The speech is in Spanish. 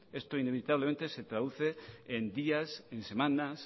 esto inevitablemente se traduce en días en semanas